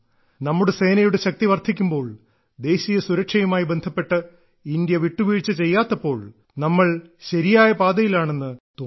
നമ്മുടെ സേനയുടെ ശക്തി വർദ്ധിക്കുമ്പോൾ ദേശീയ സുരക്ഷയുമായി ബന്ധപ്പെട്ട് ഇന്ത്യ വിട്ടുവീഴ്ച ചെയ്യാത്തപ്പോൾ അതെ നമ്മൾ ശരിയായ പാതയിലാണെന്ന് തോന്നുന്നു